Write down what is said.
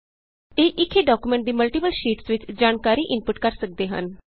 ਇਹ ਇਕ ਹੀ ਡਾਕਯੂਮੈਂਟ ਦੀ ਮਲਟੀਪਲ ਸ਼ੀਟਸ ਵਿਚ ਜਾਣਕਾਰੀ ਇਨਪੁਟ ਕਰ ਸਕਦੇ ਹਨ